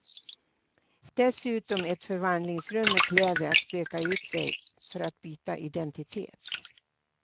Dessutom ett förvandlingsrum med kläder att spöka ut sig i för att byta identitet.